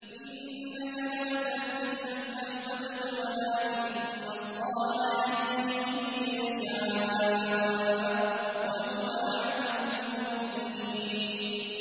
إِنَّكَ لَا تَهْدِي مَنْ أَحْبَبْتَ وَلَٰكِنَّ اللَّهَ يَهْدِي مَن يَشَاءُ ۚ وَهُوَ أَعْلَمُ بِالْمُهْتَدِينَ